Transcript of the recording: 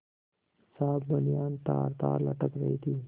साफ बनियान तारतार लटक रही थी